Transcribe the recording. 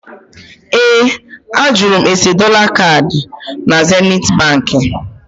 Ee, a jụrụ m ese dọla kaadị na Zenithi Baankị